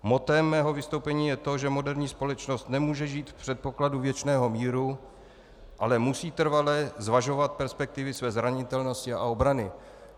Mottem mého vystoupení je to, že moderní společnost nemůže žít v předpokladu věčného míru, ale musí trvale zvažovat perspektivy své zranitelnosti a obrany.